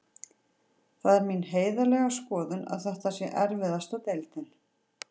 Það er mín heiðarlega skoðun að þetta sé erfiðasta deildin.